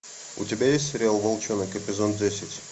у тебя есть сериал волчонок эпизод десять